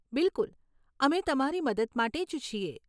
બિલકુલ! અમે તમારી મદદ માટે જ છીએ.